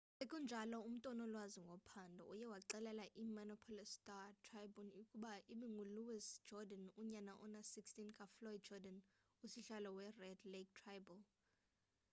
sekunjalo umntu onolwazi ngophando uye waxelela i-minneapolis star-tribune ukuba ibingu-louis jourdain unyana ona-16 kafloyd jourdan usihlalo we-red lake tribal